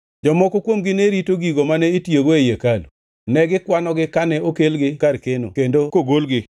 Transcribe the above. Jomoko kuomgi ne rito gigo mane itiyogo ei hekalu, ne gikwanogi kane okelgi kar keno kendo kogolgi.